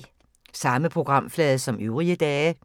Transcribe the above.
Samme programflade som øvrige dage